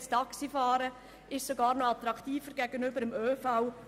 Das Taxifahren wurde sogar noch attraktiver gegenüber dem ÖV.